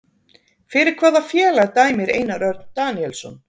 Fyrir hvaða félag dæmir Einar Örn Daníelsson?